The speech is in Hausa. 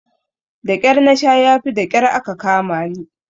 Daƙyar nasha yafi daƙyar aka kamani.